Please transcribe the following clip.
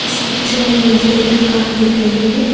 इस पिक्चर में मुझे एक दुकान दिख रहे हैं।